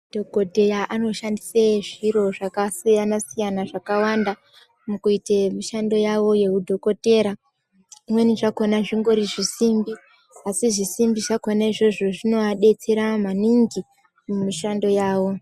Dhokodheya anoshandisa zviro zvakasiyana siyana zvakawanda mukuita mishando yawo yehudhokodheya zvimweni zvakona zvongori zvisimbi asi zvisimbi zvako na izvozvo zvinovadetsera maningi mushando yawo.